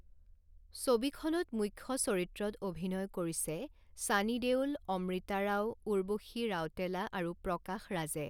ছবিখনত মূখ্য চৰিত্ৰত অভিনয় কৰিছে ছানী দেওল, অমৃতা ৰাও, উৰ্বশী ৰাউটেলা আৰু প্ৰকাশ ৰাজে।